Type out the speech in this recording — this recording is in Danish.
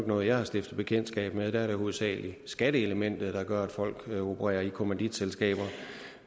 noget jeg har stiftet bekendtskab med der er det hovedsagelig skatteelementet der gør at folk opererer i kommanditselskaber